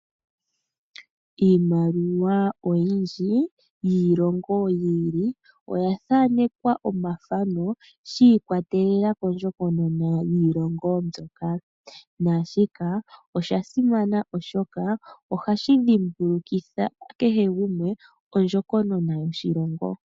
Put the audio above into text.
Iimaliwa oyindji yiilongo yi ili oya thanekwa omathano shi ikwatelela kondjokonona yiilongo mbyoka. Shika osha simana oshoka ohashi dhimbulukitha kehe gumwe ondjokonona yoshilongo.